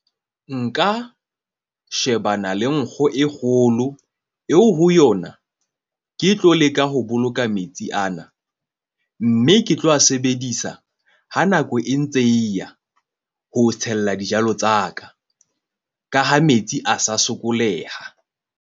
Nka shebana le nkgo e kgolo eo ho yona. Ke tlo leka ho boloka metsi ana. Mme ke tlo a sebedisa, ha nako e ntse e ya ho tshella dijalo tsa ka ka ha metsi a sa sokoleha.